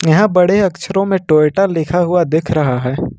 यहां बड़े अक्षरों में टोयटा लिखा हुआ दिख रहा है।